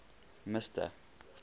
mister